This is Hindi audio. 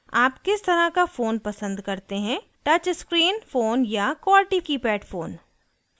आप किस तरह का फ़ोन पसंद करते हैं touch screen touch screen phone या qwerty keypad फ़ोन